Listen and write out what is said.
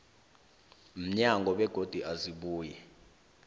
mnyango begodu azibuyi